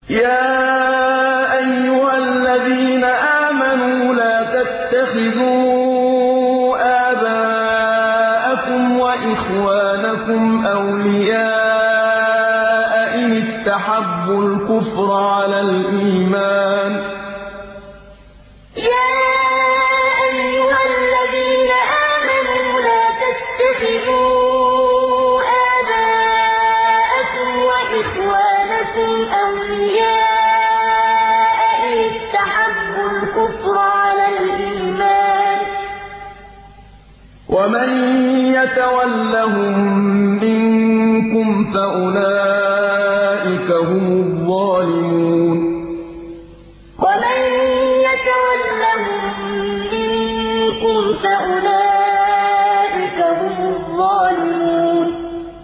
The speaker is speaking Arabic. يَا أَيُّهَا الَّذِينَ آمَنُوا لَا تَتَّخِذُوا آبَاءَكُمْ وَإِخْوَانَكُمْ أَوْلِيَاءَ إِنِ اسْتَحَبُّوا الْكُفْرَ عَلَى الْإِيمَانِ ۚ وَمَن يَتَوَلَّهُم مِّنكُمْ فَأُولَٰئِكَ هُمُ الظَّالِمُونَ يَا أَيُّهَا الَّذِينَ آمَنُوا لَا تَتَّخِذُوا آبَاءَكُمْ وَإِخْوَانَكُمْ أَوْلِيَاءَ إِنِ اسْتَحَبُّوا الْكُفْرَ عَلَى الْإِيمَانِ ۚ وَمَن يَتَوَلَّهُم مِّنكُمْ فَأُولَٰئِكَ هُمُ الظَّالِمُونَ